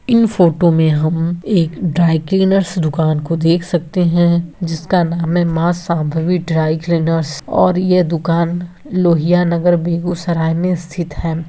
इन photo में हम एक ड्राई क्लीनर्स दुकान को देख सकते है जिसका नाम है माँ शांभवी ड्राई क्लीनर्स और ये दुकान लोहिया नगर बेगूसराय में स्थित है।